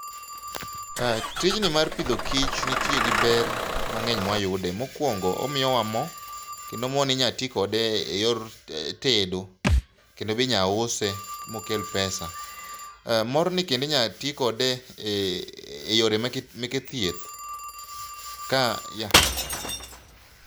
Tij ni mar pidho kich nitie gi ber mang'eny mawayude mokuongo omiyo wa mo kendo moni inyalo ti kode eyor tedo . Kendo be inyalo use mokel pesa , morni kendo inyalo ti kode e yore meke thieth ka yath